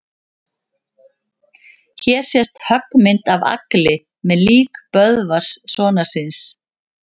Hér sést höggmynd af Agli með lík Böðvars sonar síns.